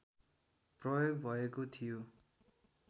प्रयोग भएको थियो